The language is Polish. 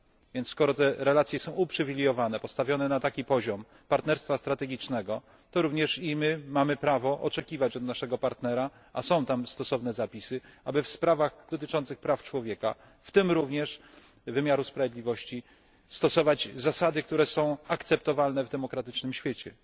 Więc skoro te relacje są uprzywilejowane, postawione na taki poziom partnerstwa strategicznego, to również i my mamy prawo oczekiwać od naszego partnera a są tam stosowne zapisy aby w sprawach dotyczących praw człowieka, w tym również wymiaru sprawiedliwości, stosować zasady, które są akceptowalne w demokratycznym świecie.